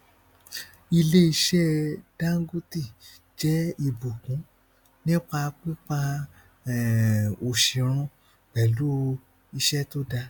iléiṣẹ dangote jẹ ìbùkún nípa pípa um òṣì run pẹlú iṣẹ tó dá